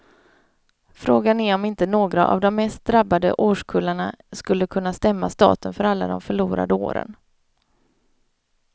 Frågan är om inte några av de mest drabbade årskullarna skulle kunna stämma staten för alla de förlorade åren.